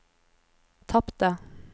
tapte